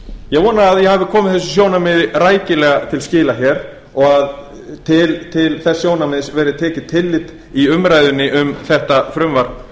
vona að ég hafi komið þessu sjónarmiði rækilega til skila og til þess sjónarmiðs verði tekið tillit í umræðunni um þetta frumvarp